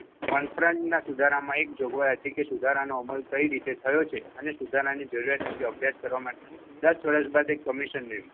One ફ્રન્ટ ના સુધારામાં એક જોગવાઇ હતી કે સુધારા નો અમલ કઈ રીતે થયો છે? અને સુધારાની જરૂરિયાત અને કેમ કે અભ્યાસ કરવા માટે દસ વરસ બાદ એક કમિશન નિર્ણય.